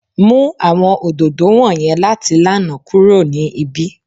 Mu awọn ododo wọnyẹn lati lana kuro ni ibi!